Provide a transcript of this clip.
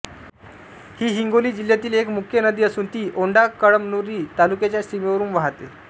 ही हिंगोली जिल्ह्यातील एक मुख्य नदी असून ती औंढाकळमनुरी तालुक्याच्या सीमेवरून वाहते